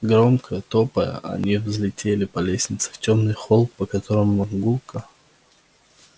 громко топая они взлетели по лестнице в тёмный холл по которому гулко